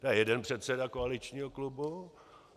To je jeden předseda koaličních klubu.